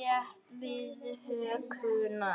rétt við hökuna.